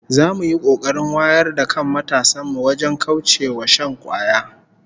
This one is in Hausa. Za mu yi kokarin wayar da kan matasan mu wajen kauce wa shan kwaya